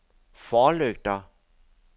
forlygter